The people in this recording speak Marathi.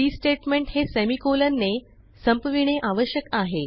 सी स्टेटमेंट हे सेमिकोलॉन ने संपविणे आवश्यक आहे